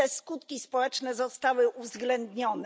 Czy te skutki społeczne zostały uwzględnione?